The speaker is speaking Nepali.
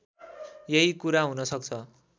यही कुरा हुनसक्छ